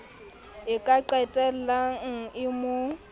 e ka qetellang e mo